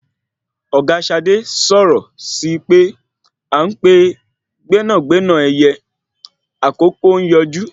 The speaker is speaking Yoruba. Ọ̀gá Ṣadé sọ̀rọ̀ síi pé à ń pè gbénàgbénà ẹyẹ àkókò ń yọjú